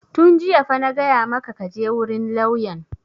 Tun jiya fa na gaya maka ka je wurin lauyan!